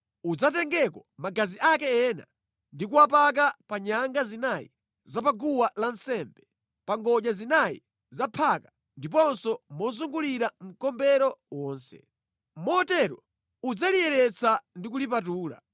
Udzatengeko magazi ake ena ndi kuwapaka pa nyanga zinayi za pa guwa lansembe, pa ngodya zinayi za phaka ndiponso mozungulira mkombero wonse. Motero udzaliyeretsa ndi kulipatula.